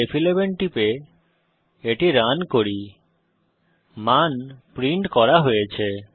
Ctrl ফ11 টিপে এটি রান করি মান প্রিন্ট করা হয়েছে